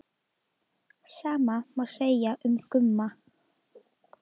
Sama má segja um Gumma.